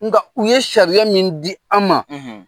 Nka u ye sariya min di an ma.